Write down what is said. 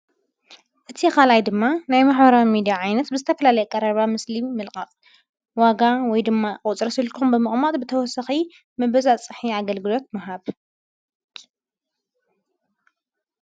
እቲ ኻልይ ድማ ናይ መኅራ ሚዲ ዓይነት ብስተፍላለይ ቀረባ ምስሊ ምልቓቕ ዋጋ ወይ ድማ ቝጽረስልኩም ብመቕማጥ ብተወሰኺ ምበዛ ጽሕ ኣገልግዶት መሃብ።